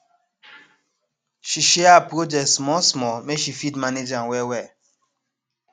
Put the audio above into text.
she share her project small small make she fit manage am well well